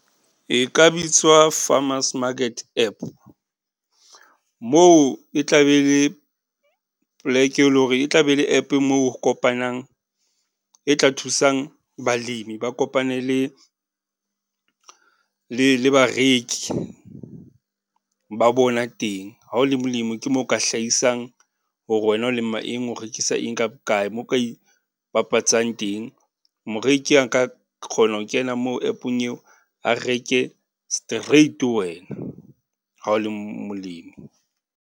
E ka bitswa farmers market app, moo e tla be e le poleke e leng hore, e tla be le app moo ho kopanang e tla thusang balemi ba kopane le, le le bareki ba bona teng. Ha o le molemo ke moo o ka hlahisang hore wena o lema eng, o rekisa eng ka bokae? Moo o ka e ipapatsang teng Moreki a nka kgona ho kena moo app-ong eo, a reke straight ho wena, ha o le molemi.